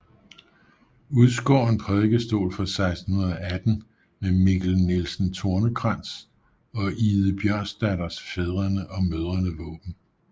Udskåren prædikestol fra 1618 med Mikkel Nielsen Tornekrans og Ide Bjørnsdatters fædrene og mødrene våben